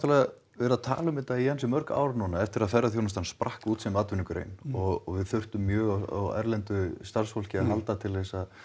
verið að tala um þetta í ansi mörg ár núna eftir að ferðaþjónustan sprakk út sem atvinnugrein og við þurftum mjög á erlendu starfsfólki að halda til að